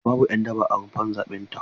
A'a babu 'yan daba a rumfar zaɓe ta.